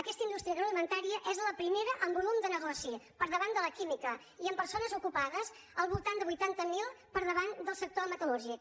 aquesta indústria agroalimentària és la primera en volum de negoci per davant de la química i en persones ocupades al voltant de vuitanta mil per davant del sector metal·lúrgic